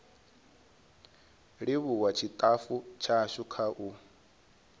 livhuwa tshitafu tshashu kha u